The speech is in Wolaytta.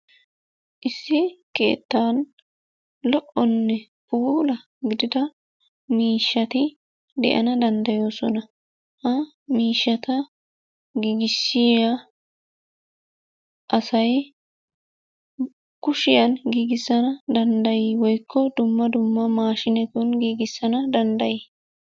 Issi keettan lo'onne puulattida miishshati de'ana danddayoosona. Ha miishshata giigissiya asay kushiyan giigissana danddayi woykko dumma dumma maashinetun giigissana danddayiyonaa?